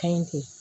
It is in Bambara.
Ka ɲi ten